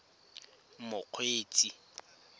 mokgweetsi